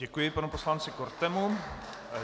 Děkuji panu poslanci Kortemu.